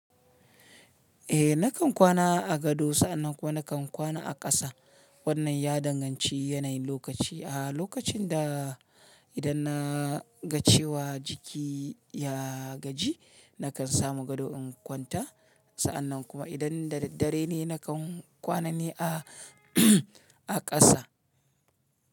Eh nakan kwana a gado sa'annan kuma nakan kwana a ƙasa. Wannan ya danganci yanayin lokaci. A lokacin da idan na ga cewa jiki ya gaji nakan samu gado in kwanta. Sa'annan kuma idan da daddare ne nakan kwana ne a, a ƙasa.